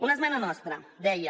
una esmena nostra deia